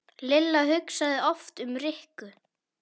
Lilla hugsaði oft um Rikku.